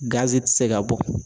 Gazi tɛ se ka bɔ.